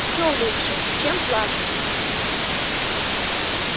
всё лучше чем плакать